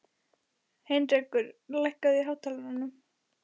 Heinrekur, lækkaðu í hátalaranum.